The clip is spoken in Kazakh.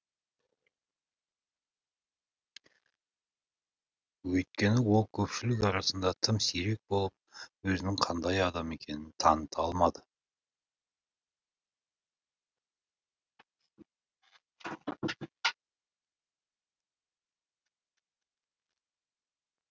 өйткені ол көпшілік арасында тым сирек болып өзінің қандай адам екенін таныта алмады